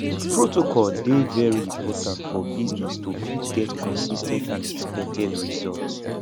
protocol dey very important for business to fit get consis ten t and expected result